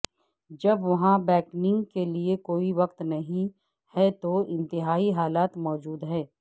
جب وہاں بیکنگ کے لئے کوئی وقت نہیں ہے تو انتہائی حالات موجود ہیں